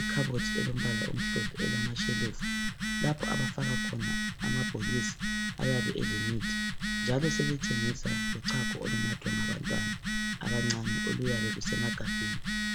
ikhabothi elombala omhlophe elamashelufu lapha abafaka khona amabhokisi ayabe elemithi njalo sebethengisa lochago olunathwa ngabantwana abancane oluyabe lusemagabheni.